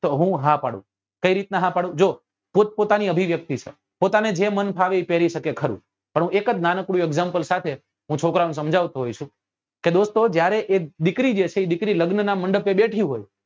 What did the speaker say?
તો હું આ પાડું કઈ રીત નાં હા પાડું કે જો પોતપોતાની અભિવ્યક્તિ સાહેબ પોતાને જે મન ફાવે એ પેરી સકે ખરું પણ હું એક જ નાનકડું example સાથે હું છોકરાઓ ને સમજાવતો હોઉં છું કે દોસ્તો જ્યારે અએ દીકરી જે છે એ દીકરી લગ્ન નાં મંડપે બેથી હોય